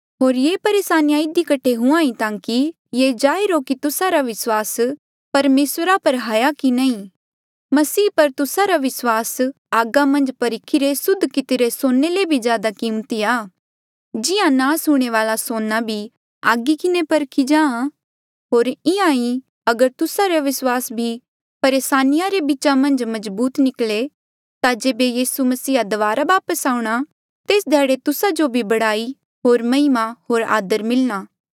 होर ये परेसानिया इधी कठे हुंहां ताकि ये जाहिर हो की तुस्सा रा विस्वास परमेसरा पर हाया की नी मसीह पर तुस्सा रा विस्वास आगा मन्झ परखिरे सुद्ध कितिरे सोने ले भी ज्यादा कीमती आ जिहां नास हूंणे वाल्आ सोना भी आगी किन्हें परखी जाहाँ होर इंहां ही अगर तुस्सा रा विस्वास भी परेसानिया रे बीचा मन्झ मजबूत निकले ता जेबे यीसू मसीहा दबारा वापस आऊंणा तेस ध्याड़े तुस्सा जो भी बड़ाई होर महिमा होर आदर मिलणा